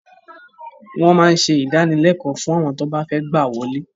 Wọ́n máa ń ṣe ìdánilékòó fún àwọn tí wọ́n bá fẹ́ gbà wọlé